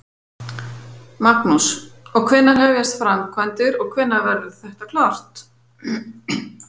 Magnús: Og hvenær hefjast framkvæmdir og hvenær verður þetta klárt?